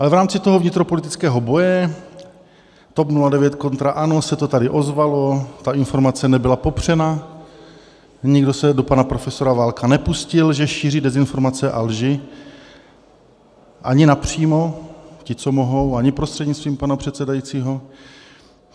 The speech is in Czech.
Ale v rámci toho vnitropolitického boje TOP 09 kontra ANO se to tady ozvalo, ta informace nebyla popřena, nikdo se do pana profesora Válka nepustil, že šíří dezinformace a lži, ani napřímo ti, co mohou, ani prostřednictvím pana předsedajícího.